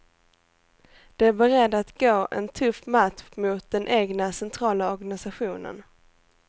De är beredda att gå en tuff match mot den egna centrala organisationen.